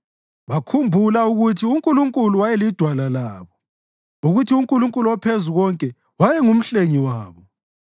Bakhumbula ukuthi uNkulunkulu wayelidwala labo, ukuthi uNkulunkulu oPhezukonke wayenguMhlengi wabo.